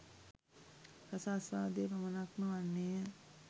රසාස්වාදය පමණක්ම වන්නේය